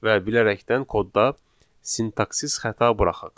Və bilərəkdən kodda sintaksis xəta buraxaq.